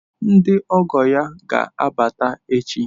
Ndị ọgọ ya ga-abata echi.